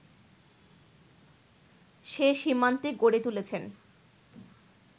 সে সীমান্তে গড়ে তুলেছেন